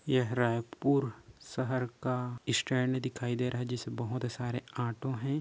यह रायपुर शहर का स्टैंड दिखाई दे रहा है जिसे बहोत सारे ऑटो है।